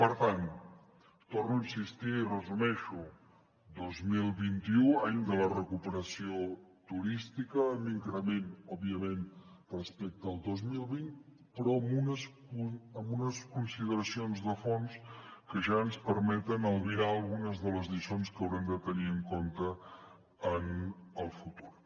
per tant hi torno a insistir i ho resumeixo dos mil vint u any de la recuperació turística amb increment òbviament respecte al dos mil vint però amb unes consideracions de fons que ja ens permeten albirar algunes de les lliçons que haurem de tenir en compte en el futur